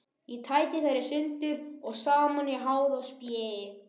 Ég tæti þær sundur og saman í háði og spéi.